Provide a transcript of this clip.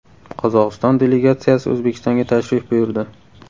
Qozog‘iston delegatsiyasi O‘zbekistonga tashrif buyurdi.